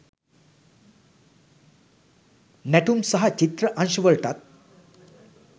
නැටුම් සහ චිත්‍ර අංශවලටත්